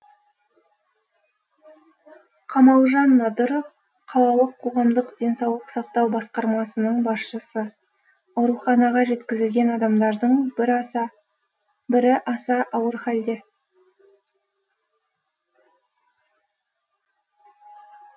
қамалжан надыров қалалық қоғамдық денсаулық сақтау басқармасының басшысы ауруханаға жеткізілген адамдардың бірі аса ауыр халде